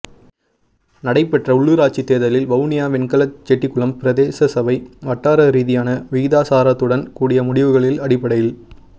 நடைபெற்ற உள்ளூராட்சி தேர்தலில் வவுனியா வெண்கலச் செட்டிக்குளம் பிரதேசசபை வட்டார ரீதியான விகிதாசாரத்துடன் கூடிய முடிவுகளின் அடிப்படையில்